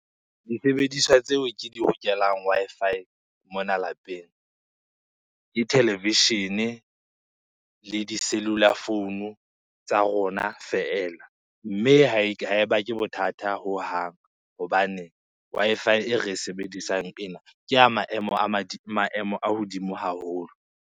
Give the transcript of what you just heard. Disebediswa tseo ke di hokelang Wi-Fi mona lapeng ke television, le di-cellular phone-u tsa rona feela. Mme ha e ha e bake bothata hohang hobane Wi-Fi e re sebedisang ena, ke ya maemo maemo a hodimo haholo.